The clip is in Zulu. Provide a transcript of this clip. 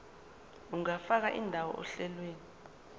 ungafaka indawo ohlelweni